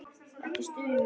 Ekki stunu.